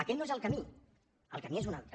aquest no és el camí el camí és un altre